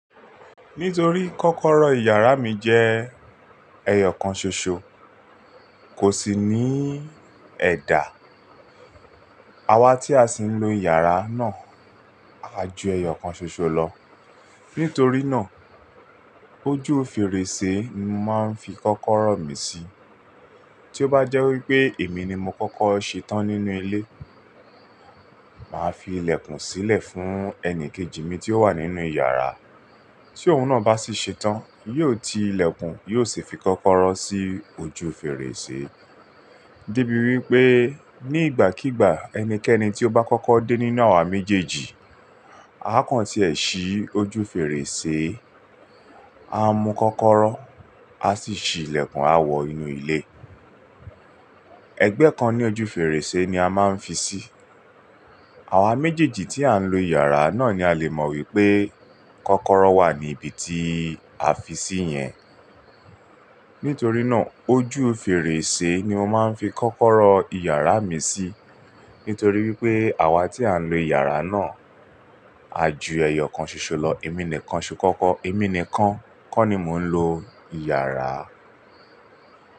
Nítorí kọ́kọ́rọ́ ìyàrá mi jẹ́ ẹyọ̀ kan ṣoṣo, kò sì ní ẹ̀dà. Àwa tí a sì ń lo ìyàrá náà, a ju ẹyọ̀ kan ṣoṣo lọ. Nítorí náà ojú fèrèsé ni màá fi kọ́kọ́rọ́ mi sí. Tí ó bá jẹ́ wípé èmi ni mo kọ́kọ́ ṣe tán nínú ilé, màá fi ilẹ̀kùn sílẹ̀ fún ẹni kejì mi tí ó wà nínú ìyàrá. Tí òun náà bá sì ṣe tán, yóò ti ilẹ̀kùn, yóò sì fi kọ́kọ́rọ́ sí ojú fèrèsé. Díbí wípé ní ìgbàkígbà ẹnikẹ́ni tí ó bá kọ́kọ́ dé nínú àwa méjèèjì, àkọ́ń tí ẹ̀ ṣí ojú fèrèsé, a mu kọ́kọ́rọ́, a sì fi ilẹ̀kùn a wọ inú ilé. Ẹgbẹ́ kan ní ojú fèrèsé ni a máa ń fi sí. Àwa méjèèjì tí à ń lo ìyàrá náà ni a lè mọ wípé kọ́kọ́rọ́ wà ní ibi tí a fi sí yẹn. Nítorí náà ojú fèrèsé ni mo máa ń fi kọ́kọ́rọ́ ìyàrá mi sí. Nítorí wípé àwa tí à ń lo ìyàrá náà, a ju ẹyọ̀ kan ṣoṣo lọ. Èmi nìkan ṣe kọ́kọ́, èmi nìkan kọ́ ni mò ń lo ìyàrá.